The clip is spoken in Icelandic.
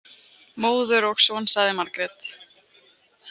Móður og son, sagði Margrét.